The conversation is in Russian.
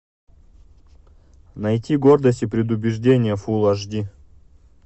найти гордость и предубеждение фул аш ди